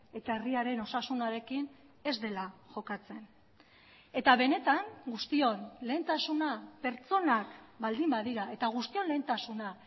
eta herriaren osasunarekin ez dela jokatzen eta benetan guztion lehentasuna pertsonak baldin badira eta guztion lehentasuna